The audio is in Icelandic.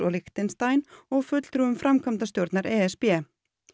Lichtenstein og fulltrúum framkvæmdastjórnar e s b